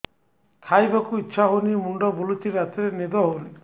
ଖାଇବାକୁ ଇଛା ହଉନି ମୁଣ୍ଡ ବୁଲୁଚି ରାତିରେ ନିଦ ହଉନି